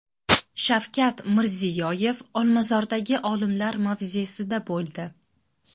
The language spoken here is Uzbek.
Shavkat Mirziyoyev Olmazordagi olimlar mavzesida bo‘ldi.